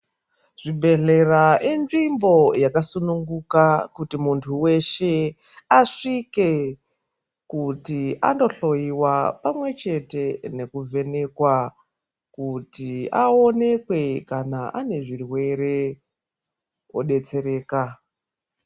Zvibhehlera inzvimbo yakasunungika kuti muntu weshe asvike kuti andohloyiwa pamwechete kuti aonekwe kuti ane zvirwere odetsereka.